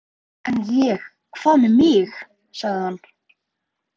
En ég. hvað með mig? sagði hann.